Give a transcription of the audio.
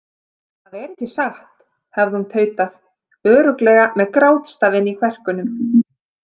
Það er ekki satt, hafði hún tautað, örugglega með grátstafinn í kverkunum.